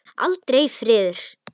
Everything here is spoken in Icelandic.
Aldrei friður.